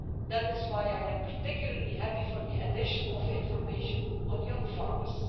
That is why I particularly welcome the addition of information on young farmers.